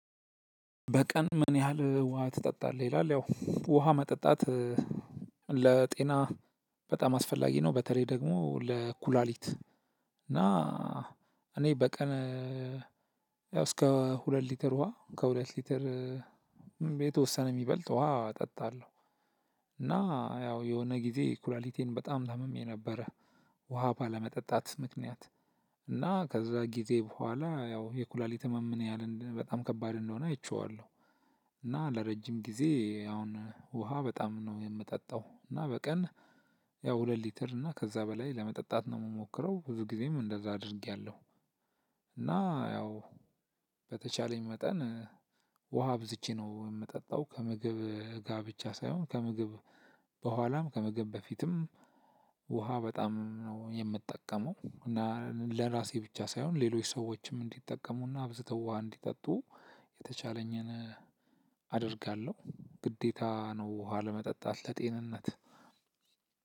በቀን ምን? ያህል ውሃ ትጠጣለህ ይላል ያው ውሃ መጠጣት ለጤና በጣም አስፈላጊ ነው። በተለይ ደግሞ ለኩላሊት እና እኔ በቀን ያው እስከ ሁለት ሊትር ውሃ ከሁለት ሊትር የተወሰነ የሚበልጥ ውሃ እጠጣለሁ። እና ያው የሆነ ጊዜ ኩላሊቴን በጣም ታምሜ ነበረ። ውሃ ባለመጠጣት ምክንያት እና ከዛ ጊዜ በኋላ ያው የኩላሊት ህመም ምን ያህል በጣም ከባድ እንደሆነ አይቼዋለሁ። እና ለረጅም ጊዜ አሁን ውሃ በጣም ነው የምጠጣው። እና በቀን ያው ሁለት ሊትር እና ከዛ በላይ ለመጠጣት ነው የምሞክረው ብዙ ጊዜም እንደዛ አድርጌያለሁ። እና ያው በተቻለኝ መጠን ውሃ አብዝቼ ነው የምጠጣው። ከምግብ ጋ ብቻ ሳይሆን ከምግብ ቦኋላም ከምግብ በፊትም ውሃ በጣም ነው የምጠቀመው። እና ለራሴ ብቻ ሳይሆን ሌሎች ሰዎችም እንዲጠቀሙና አብዝተው ውሃ እንዲጠጡ የተቻለኝን አደርጋለሁ። ግዴታ ነው ውሃ ለመጠጣት ለጤንነት።